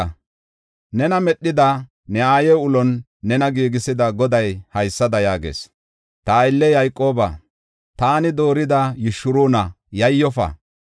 Nena medhida, ne aaye ulon nena giigisida Goday haysada yaagees. Ta aylliya Yayqooba, taani doorida Yishuruuna, yayyofa.